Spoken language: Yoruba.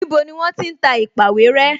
Níbo ni wọ́n ti ń ta èpàwéré?